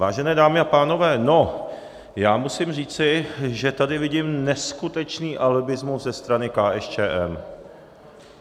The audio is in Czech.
Vážené dámy a pánové, no, já musím říci, že tady vidím neskutečný alibismus ze strany KSČM.